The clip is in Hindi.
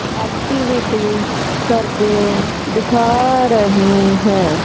एक्टिविटी करके दिखा रही है।